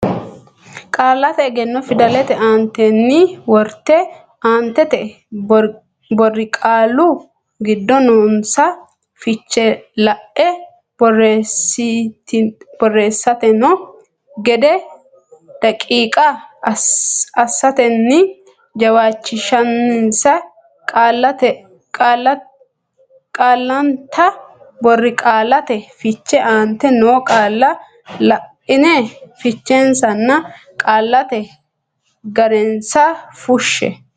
Qaallate Egenno fidalete aantenni worte aantete borqaallu giddo noonsa fiche la e borreessitanno gede daqiiqa assatenni jawaachishinsa Qaallannita Borqaallate Fiche aantete noo qaalla la ine fichensanna qaallate ga rensa fushshe.